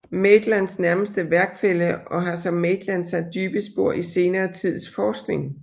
Maitlands nærmeste værkfælle og har som Maitland sat dybe spor i senere tids forskning